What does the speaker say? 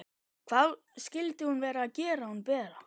Hvað skyldi hún vera að gera hún Bera?